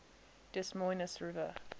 des moines river